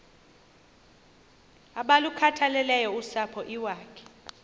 abalukhathaleleyo usapho iwakhe